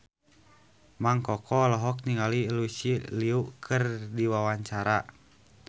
Mang Koko olohok ningali Lucy Liu keur diwawancara